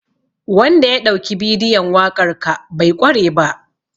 Wanda ya ɗauki bidiyon waƙar ka bai ƙware ba.